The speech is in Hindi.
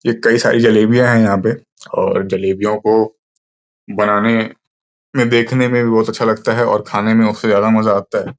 ये कई सारी जलेबियां है यहां पे और जलेबियों को बनाने में देखने में भी बहुत अच्छा लगता है और खाने में उससे ज्यादा मजा आता है।